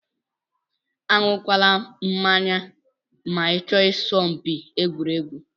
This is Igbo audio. Anyu kwana mmanya ma ichọ isa mpi egwuregwu.